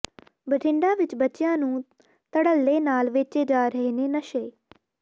ਬਠਿੰਡਾ ਵਿਚ ਬੱਚਿਆਂ ਨੂੰ ਧੜੱਲੇ ਨਾਲ ਵੇਚੇ ਜਾ ਰਹੇ ਨੇ ਨਸ਼ੇ